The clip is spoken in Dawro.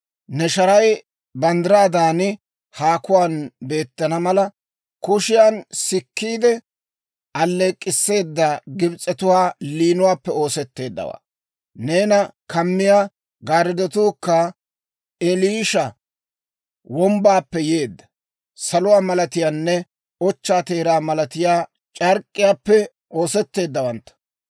Ne sharay banddiraadan haakuwaan beettana mala, kushiyan sikkiide alleek'k'isseeda Gibs'etuwaa liinuwaappe oosetteeddawaa; neena kamiyaa gaariddotuukka Eliisha wombbaappe yeedda, saluwaa malatiyaanne ochchaa teeraa malatiyaa c'ark'k'iyaappe oosetteeddawantta.